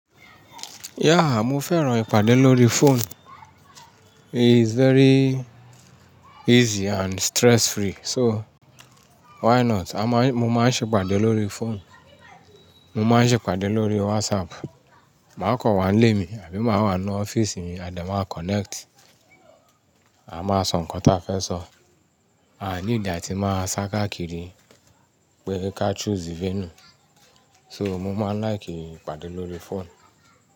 Yeah, mo fẹ́ràn ìpàdé lórí phone. It's very easy and stress free. So why not? A máa ń-- mo máa ń ṣe ìpàdé lórí phone. Mo máa ń ṣe ìpàdé lórí WhatsApp. Màá kọ̀ wá ńlé mi àbí máa wà ní ọ́fíìsì mi, a dẹ̀ máa connect. A máa sọ nǹkan ta fẹ́ sọ. A need a tí máa sá káàkiri pé ká choose venue. So mo máa n like ìpàdé lórí phone.